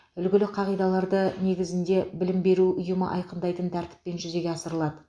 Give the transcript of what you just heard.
үлгілі қағидаларды негізінде білім беру ұйымы айқындайтын тәртіппен жүзеге асырылады